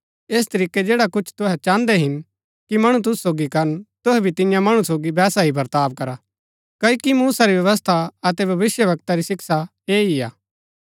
ऐस तरीकै जैडा कुछ तुहै चाहन्दै हिन कि मणु तुसु सोगी करन तुहै भी तियां मणु सोगी वैसा ही वर्ताव करा क्ओकि मूसा री व्यवस्था अतै भविष्‍यवक्ता री शिक्षा ऐह ही हा